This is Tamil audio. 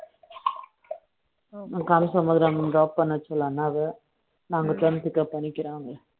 telugu Language